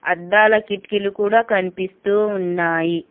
అద్దాల కిటికీలు కూడా కనిపిస్తూ ఉన్నాయి.